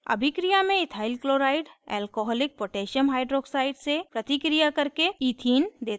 अभिक्रिया में ethyl chloride alcoholic potassium hydroxide से प्रतिक्रिया करके ethene देता है